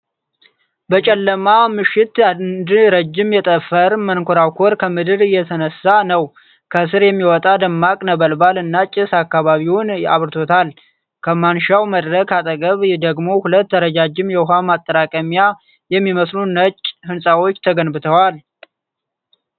በጨለማ ምሽት አንድ ረጅም የጠፈር መንኮራኩር ከምድር እየተነሳ ነው። ከስር የሚወጣ ደማቅ ነበልባል እና ጭስ አካባቢውን አብራርቶታል። ከማንሻው መድረክ አጠገብ ደግሞ ሁለት ረጃጅም የውሃ ማጠራቀሚያ የሚመስሉ ነጭ ህንፃዎች ተገንብተዋል።